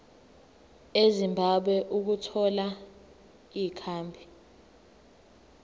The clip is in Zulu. ezimbabwe ukuthola ikhambi